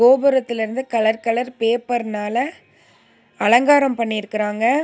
கோபுரத்திலருந்து colour colour பேப்பர்னால அலங்காரோ பண்ணிருக்காங்க.